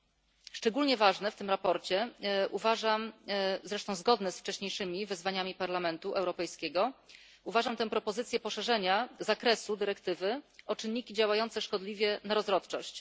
Za szczególnie ważną w tym sprawozdaniu uważam zresztą zgodnie z wcześniejszymi wezwaniami Parlamentu Europejskiego tę propozycję poszerzenia zakresu dyrektywy o czynniki działające szkodliwie na rozrodczość.